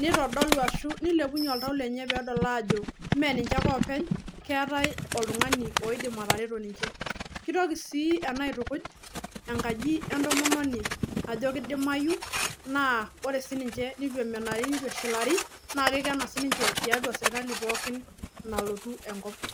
neitodolu ashu neilepunye oltau lenye peedol aajo meninche ake openy, keetai oltung'ani oidim atareto ninche. Keitoki sii ena aitukuj enkaji entomononi ajo keidimayu naa ore sininche neitu emenari neitu eshilari nake eikena sininche tiatua serkali pookin nalotu enkop.